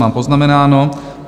Mám poznamenáno.